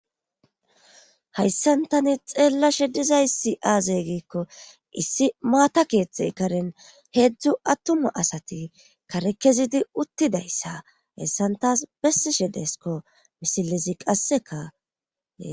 Hayssantani xeella shedizaysi aazey giikko issi maata keeththe karen heedzdzu attuma asati karekezidi uttidayssa hessantas bessi shedeskko misilizi qassekae